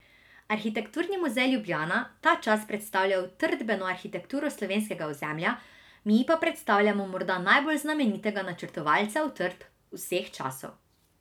Arhitekturni muzej Ljubljana ta čas predstavlja utrdbeno arhitekturo slovenskega ozemlja, mi pa predstavljamo morda najbolj znamenitega načrtovalca utrdb vseh časov.